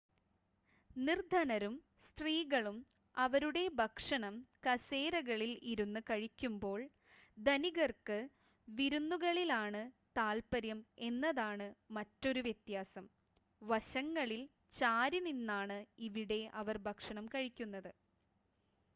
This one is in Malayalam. നിർദ്ധനരും സ്ത്രീകളും അവരുടെ ഭക്ഷണം കസേരകളിൽ ഇരുന്ന് കഴിക്കുമ്പോൾ ധനികർക്ക് വിരുന്നുകളിലാണ് താത്പര്യം എന്നതാണ് മറ്റൊരു വ്യത്യാസം വശങ്ങളിൽ ചാരിനിന്നാണ് ഇവിടെ അവർ ഭക്ഷണം കഴിക്കുന്നത്